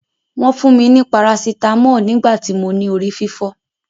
Wọ́n fún mi ni parasitámọ̀ nígbà tí mo ní orí fífọ́.